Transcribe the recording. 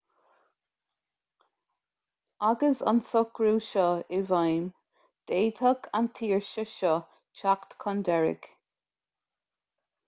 agus an socrú seo i bhfeidhm d'fhéadfadh an tsaoirse seo teacht chun deiridh